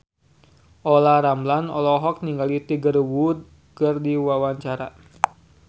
Olla Ramlan olohok ningali Tiger Wood keur diwawancara